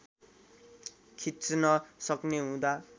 खिच्न सक्ने हुँदा